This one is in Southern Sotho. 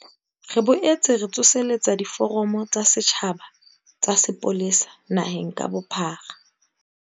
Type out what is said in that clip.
Re boetse re tsoseletsa diforamo tsa setjhaba tsa sepolesa naheng ka bophara.